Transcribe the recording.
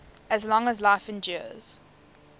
as long as life endures